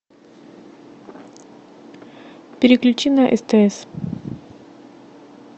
переключи на стс